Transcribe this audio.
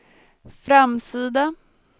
framsida